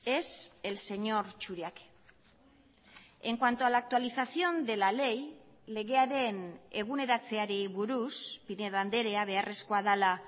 es el señor churiaque en cuanto a la actualización de la ley legearen eguneratzeari buruz pinedo andrea beharrezkoa dela